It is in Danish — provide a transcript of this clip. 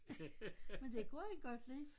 Men det kunne han godt lide